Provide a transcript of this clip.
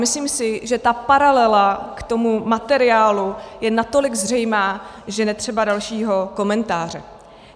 Myslím si, že ta paralela k tomu materiálu je natolik zřejmá, že netřeba dalšího komentáře.